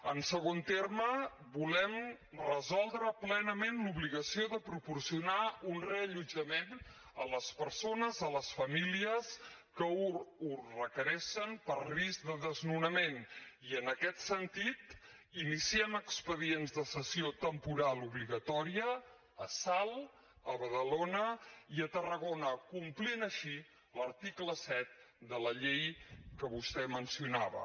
en segon terme volem resoldre plenament l’obligació de proporcionar un reallotjament a les persones a les famílies que ho requereixen per risc de desnonament i en aquest sentit iniciem expedients de cessió temporal obligatòria a salt a badalona i a tarragona complint així l’article set de la llei que vostè mencionava